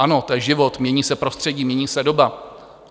Ano, to je život, mění se prostředí, mění se doba.